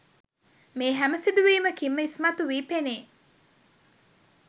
මේ හැම සිදුවීමකින්ම ඉස්මතු වී පෙනේ.